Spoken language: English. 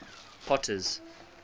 potter's